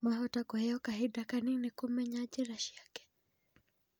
Mahota kũheo kahinda Kanini kũmenyera njĩra ciake